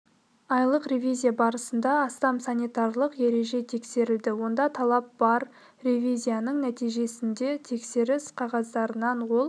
айлық ревизия барысында астам санитарлық ереже тексерілді онда талап бар ревизияның нәтижесінде тексеріс қағаздарынан ол